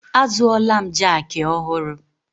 Azụọla m jaaki ọhụrụ.